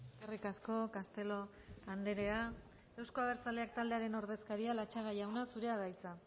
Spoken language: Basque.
eskerrik asko castelo andrea euzko abertzaleak taldearen ordezkaria latxaga jauna zurea da hitza